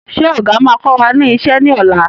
Ṣé ọ̀gà máa kọ wá ní ìṣe ni ọ̀la?